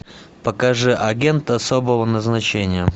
покажи агент особого назначения